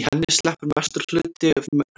í henni sleppur mestur hluti